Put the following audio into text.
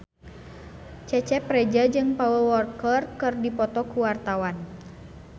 Cecep Reza jeung Paul Walker keur dipoto ku wartawan